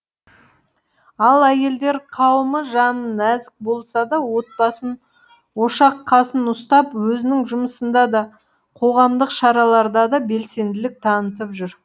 ал әйелдер қауымы жаны нәзік болса да отбасын ошақ қасын ұстап өзінің жұмысында да қоғамдық шараларда да белсенділік танытып жүр